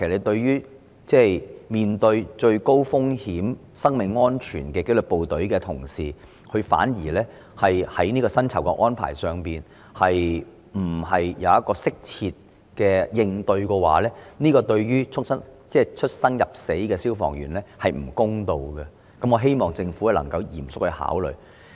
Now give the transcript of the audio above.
對於面對最高風險及生命安全威脅的紀律部隊同事，如果他們在薪酬安排上反而不獲適切應對，對出生入死的消防員而言並不公道，希望政府能夠嚴肅考慮。